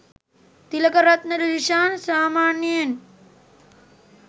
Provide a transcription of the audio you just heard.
තිලකරත්න ඩිල්ශාන් සාමාන්යයෙන්